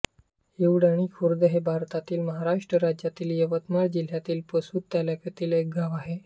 हिवळणी खुर्द हे भारतातील महाराष्ट्र राज्यातील यवतमाळ जिल्ह्यातील पुसद तालुक्यातील एक गाव आहे